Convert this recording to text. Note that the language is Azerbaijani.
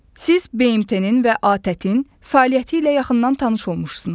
Siz BMT-nin və ATƏT-in fəaliyyəti ilə yaxından tanış olmusunuz.